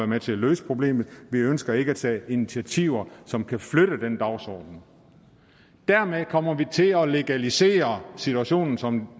med til at løse problemerne vi ønsker ikke at tage initiativer som kan flytte den dagsorden dermed kommer vi til at legalisere situationen som